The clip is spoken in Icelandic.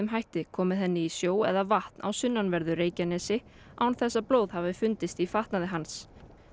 hætti komið henni í sjó eða vatn á sunnanverðu Reykjanesi án þess að blóð hafi fundist í fatnaði hans